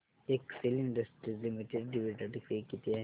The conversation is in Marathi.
Excel Industries Limited dividend pay किती आहे